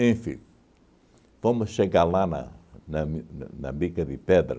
fomos chegar lá na na Mi na na Bica de Pedra,